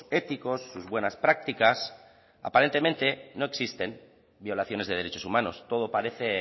éticos sus buenas prácticas aparentemente no existen violaciones de derechos humanos todo parece